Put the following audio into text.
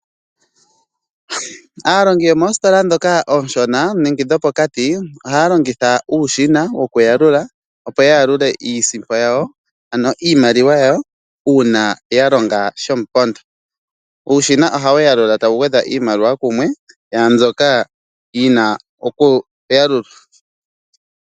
Aalongi yomoositola dhoka ooshona nenge dhopokati ohaya longitha uushina wokuyalula opo yayalule iisimpo yawo ano iimaliwa yawo uuna yalonga shomupondo. Uushina ohawu yalula tawu gwedha iimaliwa kumwe yaambyoka yina okuyalulwa.